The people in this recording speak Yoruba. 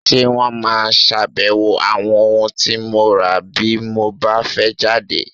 Ṣé wón máa ṣàbẹ̀wò àwọn ohun tí mo rà bí mo bá fẹ́ jáde?